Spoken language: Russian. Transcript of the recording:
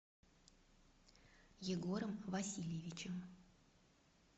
егором васильевичем